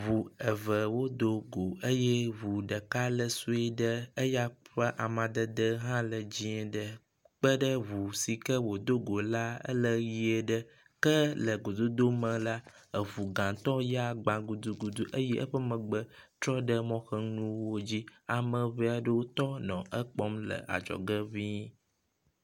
Ŋu eve wodo go eye ŋu ɖeka le sue ɖe, eya ƒe amadede hã le dzɛ̃ ɖe kpeɖe ŋu si ke wòdo go la, ele ʋɛ̃ ɖe ke le gododo me la, eŋu gãtɔ ya gba gudugudu eye eƒe megbe trɔ ɖe mɔ ƒe nuwo dzi. Ame ŋe aɖewo tɔ nɔ ekpɔm le adzɔge ŋii.